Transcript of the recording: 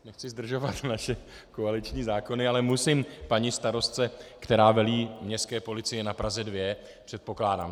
Nechci zdržovat naše koaliční zákony, ale musím paní starostce, která velí městské policii na Praze 2, předpokládám.